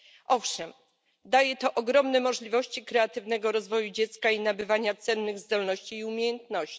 Owszem, daje to ogromne możliwości kreatywnego rozwoju dziecka i nabywania cennych zdolności i umiejętności.